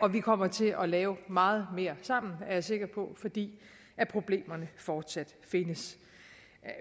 og vi kommer til at lave meget mere sammen er jeg sikker på fordi problemerne fortsat findes